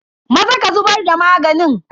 Maza ka zubar da maganin.